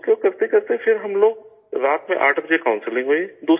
اس کو کرتے کرتے پھر ہم لوگ، رات میں 8 بجے کاؤنسلنگ ہوئی